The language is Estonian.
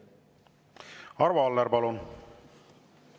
Arvo Aller, palun!